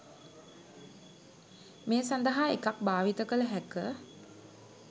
මේ සඳහා එකක් භාවිත කළ හැක.